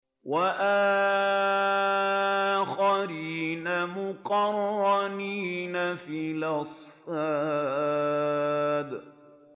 وَآخَرِينَ مُقَرَّنِينَ فِي الْأَصْفَادِ